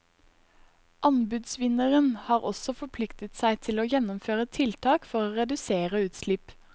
Anbudsvinneren har også forpliktet seg til å gjennomføre tiltak for å redusere utslipp.